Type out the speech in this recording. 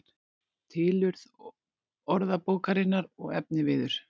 Tilurð orðabókarinnar og efniviður